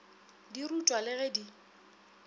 di rutwa le ge di